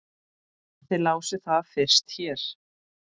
Þið lásuð það fyrst hér!